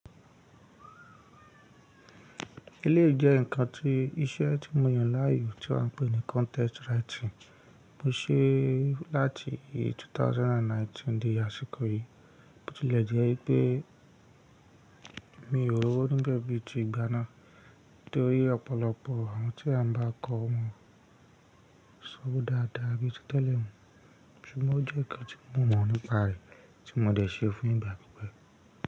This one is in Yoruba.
Eléyìí jẹ́ ǹkan tí iṣẹ́ tí mo yàn láàyò tí a ń pè ní contest writing. Mo ṣe láti two thousand and nineteen dé àsìkò yìí. Bo tilẹ̀ jẹ́ pé mi ò r'òwo nibe bí i tí ìgbà náà torí ọ̀pọ̀lọpọ̀ àwọn tí a ń bá kọ́ wọn, ṣọ́ọ̀ dáadáa bí i tí tẹ̀lé mọ Ṣùgbọ́n ó jẹ́ kí n tí mo mọ̀ nípa rẹ̀ tí mo dé se fun ìgbà pípẹ́.